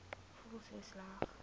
voel so sleg